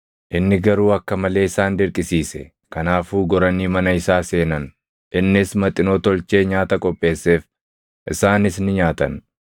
Inni garuu akka malee isaan dirqisiise; kanaafuu goranii mana isaa seenan; innis maxinoo tolchee nyaata qopheesseef; isaanis ni nyaatan.